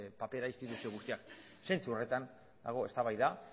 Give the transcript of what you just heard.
papera instituzio guztiak zentzu horretan dago eztabaida